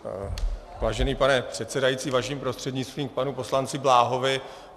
Vážený pane předsedající, vaším prostřednictvím k panu poslanci Bláhovi.